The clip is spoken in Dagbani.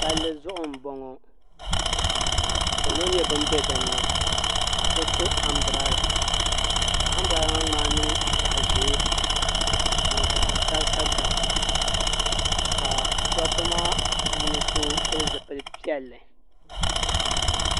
Palli zuɣu m-bɔŋɔ ka salo nyɛ ban be din ni ka so to ambirɛla ka ambirɛla maa ŋmaai niŋ zaɣ' ʒee ni zaɣ' garisagarisa ka dabba maa puuni so pili zipil' piɛlli